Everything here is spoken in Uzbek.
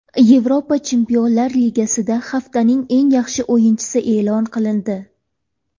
Yevropa Chempionlar Ligasida haftaning eng yaxshi o‘yinchisi e’lon qilindi.